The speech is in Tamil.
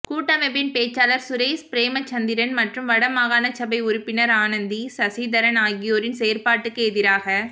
கூட்டமைப்பின் பேச்சாளர் சுரேஸ் பிறேமச்சந்திரன் மற்றும் வடமாகாணசபை உறுப்பினர் அனந்தி சசிதரன் ஆகியோரின் செயற்பாட்டுக்கு எதிராக